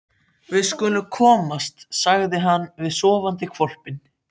Við skulum komast, sagði hann við sofandi hvolpinn.